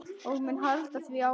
Ég mun halda því áfram.